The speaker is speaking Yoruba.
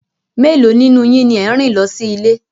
Mélòó nínú yín ni ẹ̀ ń rìn lọ sí ilé